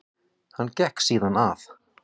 Hann gekk síðan að